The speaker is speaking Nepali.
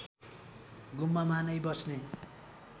गुम्बामा नै बस्ने